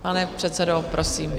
Pane předsedo, prosím.